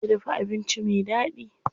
Ta iya dafa abinci me daɗi.